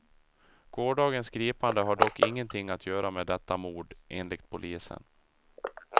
Gårdagens gripande har dock ingenting att göra med detta mord, enligt polisen.